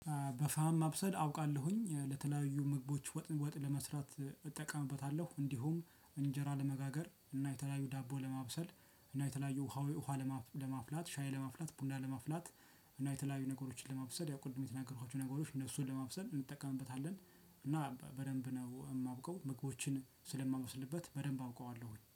በፋም ማብሰል አውቃለሁኝ ለተለያዩ ምግቦች ወጥ ወጥ ለመስራት እጠቀምበታለሁ እንዲሁም እንጀራ ለመጋገር እና የተለያዩ ዳቦ ለማብሰል እና የተለያዩ ውሃ ውሃ ለማፍላት ሻይ ለማፍላት ቡና ለማፍላት እና የተለያዩ ነገሮችን ለማብሰል ያው ቅድም የተናገሩት ነገሮች እነሱን ለማብሰል እንጠቀምበታለን። እና በደንብ ነው የማውቀው ምግቦችን ስለማበስልበት በደንብ አውቀዋለሁኝ